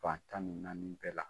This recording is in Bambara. Fantan ni naani bɛɛ la.